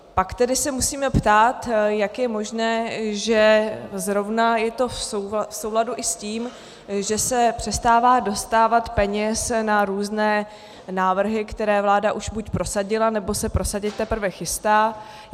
Pak tedy se musíme ptát, jak je možné, že zrovna je to v souladu i s tím, že se přestává dostávat peněz na různé návrhy, které vláda už buď prosadila, nebo se prosadit teprve chystá.